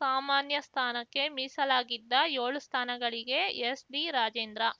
ಸಾಮಾನ್ಯ ಸ್ಥಾನಕ್ಕೆ ಮೀಸಲಾಗಿದ್ದ ಯೋಳು ಸ್ಥಾನಗಳಿಗೆ ಎಸ್‌ಡಿ ರಾಜೇಂದ್ರ